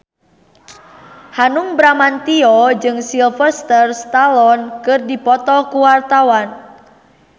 Hanung Bramantyo jeung Sylvester Stallone keur dipoto ku wartawan